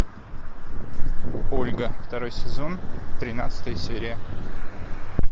ольга второй сезон тринадцатая серия